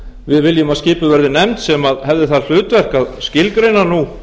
við viljum að skipuð verði nefnd sem hefði það hlutverk að skilgreina nú